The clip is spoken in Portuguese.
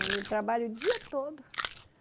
Ele trabalha o dia todo.